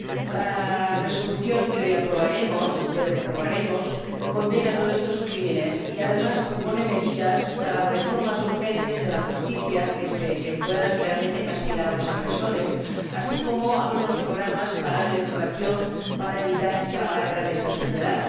La resolución que hoy aprobaremos espero que aprobaremos condena todos estos crímenes y, además, propone medidas para reformas urgentes de la justicia que puedan realmente castigar a los agresores, así como algunos programas para la educación, para evitar esta lacra de esta sociedad.